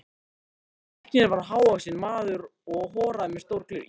Læknirinn var hávaxinn maður og horaður með stór gleraugu.